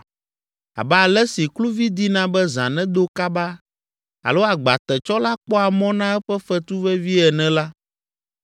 Abe ale si kluvi dina be zã nedo kaba alo agbatetsɔla kpɔa mɔ na eƒe fetu vevie ene la,